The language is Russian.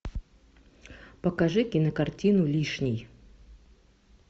покажи кинокартину лишний